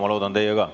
Ma loodan, et teie ka.